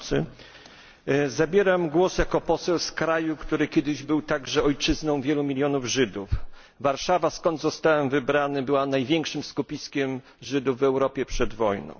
Panie Przewodniczący! Zabieram głos jako poseł z kraju, który kiedyś był także ojczyzną wielu milionów Żydów. Warszawa skąd zostałem wybrany była największym skupiskiem Żydów w Europie przed wojną.